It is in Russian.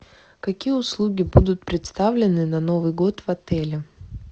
какие услуги будут представлены на новый год в отеле